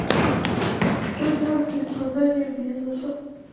что делать перед созданием бизнеса